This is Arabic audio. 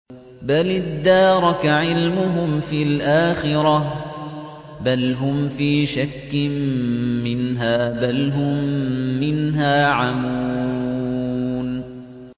بَلِ ادَّارَكَ عِلْمُهُمْ فِي الْآخِرَةِ ۚ بَلْ هُمْ فِي شَكٍّ مِّنْهَا ۖ بَلْ هُم مِّنْهَا عَمُونَ